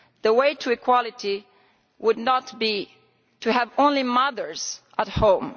The way to equality would not be to have only mothers at home.